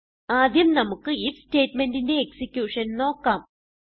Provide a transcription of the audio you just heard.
ആദ്യം നമുക്ക് ഐഎഫ് സ്റ്റേറ്റ്മെന്റിന്റെ എക്സിക്യൂഷൻ നോക്കാം